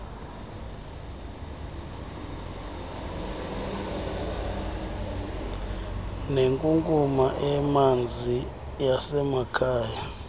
nenkunkuma emanzi yasemakhaya